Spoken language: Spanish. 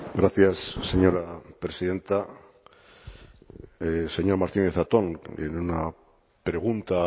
gracias señora presidenta señor martínez zatón en una pregunta